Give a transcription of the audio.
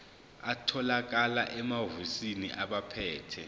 atholakala emahhovisi abaphethe